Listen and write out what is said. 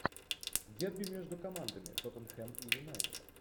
дерби между командами тоттенхэм и юнайтед